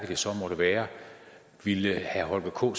det så måtte være ville herre holger k